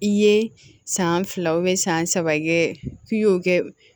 I ye san fila san saba kɛ k'i y'o kɛ